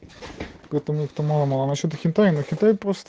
потому что мало мало насчёт акита-ину